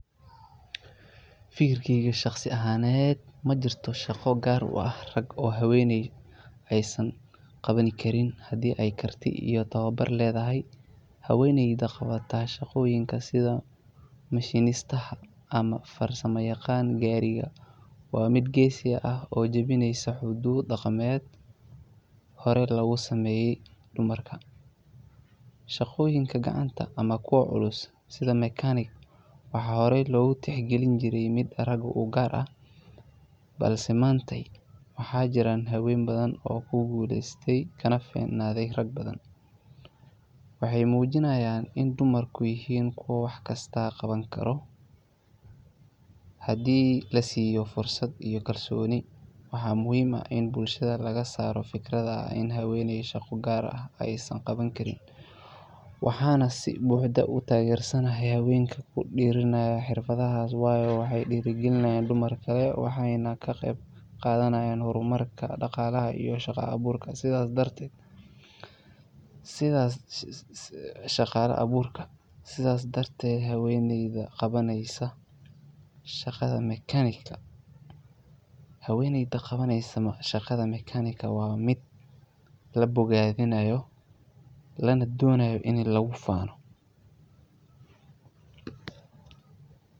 Fikirkeyga shaqsi ahaned majirto shaqo gar uah rag oo habeney aay san qabani karin, hadi aay karti iyoh tawabar ledahay haweneyda qabata shaqoyinka sidha mashinistaha ama farsama yaqan gariga waa mid gesi ah oo janineysa xudud daqamed hore logusameye hormarka shaqoyinka gacanta amah kuwa culus sidha mechanic hore logu tixgalini jire mida raga ugar ah, balse manta waxay jiran hawen badhan oo kuguleyste kana ficnade rag badhan waxay mujinayan inu dumarka yihin kuwa wax kista qabani karo hadi lasiyo fursad iyo kalsoni, waxa muhim ah ini bulshada lagasaro figradaha ini habeney shaqo gar ah ay san qabani karin waxa nah si buxda utagersanahay hawenka kudiranayah xirfadaha wayo waxay dirigalinayan dumarkale waxay nah kaqebqadanayan hormarka daqalaha iyoh shaqa aburka sidha dartet habeneyda qabaneyso shaqada mekanigta wa mid labogadinayo lanadonayo ini lagu fano.